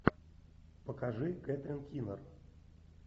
покажи кэтрин кинер